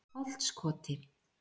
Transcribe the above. Holtskoti